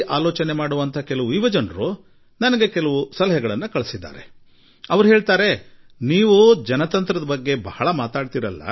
ಕೆಲವು ಆಧುನಿಕ ವಿಚಾರದ ಯುವಕರು ನೀವು ಇಷ್ಟು ದೊಡ್ಡ ಪ್ರಜಾಪ್ರಭುತ್ವದ ಬಗ್ಗೆ ಮಾತನಾಡುವಿರಿ